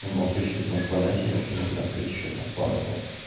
в любом случаи ты сможешь продать её и открыть там ещё парочку